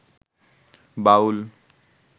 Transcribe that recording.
বাউল